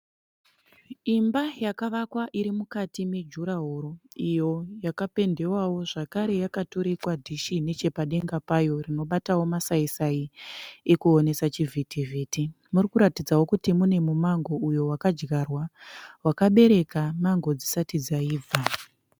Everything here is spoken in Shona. Imba yakavakwa iri mukati me juraworo. Iyo yakapendewawo zvakare yakaturikwa dhishi nechepadenga payo rinobatawo masai-sai ekuonesa chivhiti-vhiti . Murikuratidzawo kuti mune mumango uyo wakadyarwa wakabereka mango dzisati dzaibva.